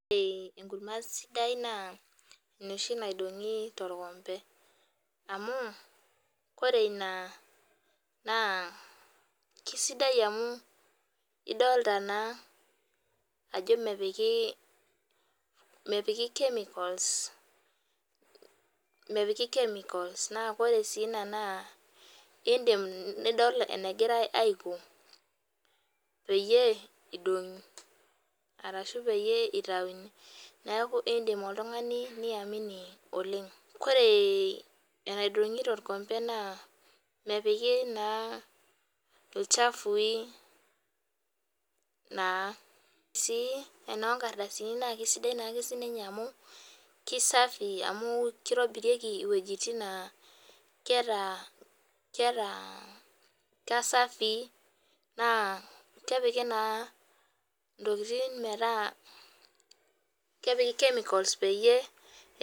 Ore enkurma sidai naa enoshi naidong'i torkombe. Amu koree ina naa kisaidia amu idolita naa mepiki, mepiki chemicals mepiki chemicals. Naa koree si ina idim nidol enegirai aiko peyie idong'i arashu peyie itauni. Neeku idim oltung'ani nii amini oleng'. Koree enaidong'i torkombe naa mepiki naa ilchafui naa. Sii enornkadasini na kisidai sii ninye amu kei safi amu keitobirieki iwejitin naa keeta keeta kai safi naa kepiki naa intokitin meeta kepiki chemicals peyie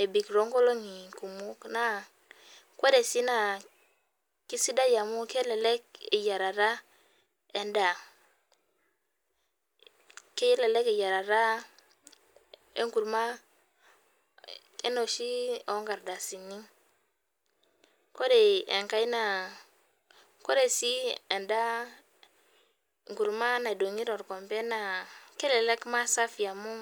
ebik too nkolong'i kumok naa koree sii naa keisidai amu kelelek eyierata edaa. Kelelek eyierata enkurma enoshi oo nkardasini. Ore enkae naa ore sii edaa nkurma naidong'i torkombe kelelek mee safi amu.